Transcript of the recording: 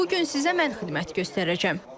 Bu gün sizə mən xidmət göstərəcəm.